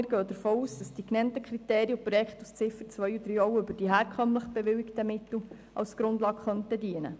Wir gehen davon aus, dass die in den Ziffern 2 und 3 genannten Kriterien und Vorschläge auch für die herkömmlich bewilligten Mittel als Grundlage dienen können.